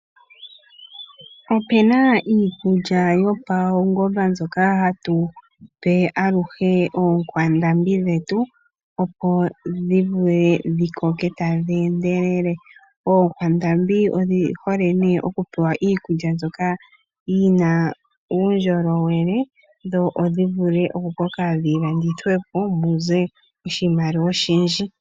Opu na iikulya yopaunongononi mbyoka hatu pe aluhe oonkwandambi dhetu, opo dhi vule dhi koke tadhi endelele. Oonkwandambi odhi hole okupewa iikulya mbyoka yi na uundjolowele dho dhi vule okukoka dhi landithwe po mu ze oshimaliwa oshindji.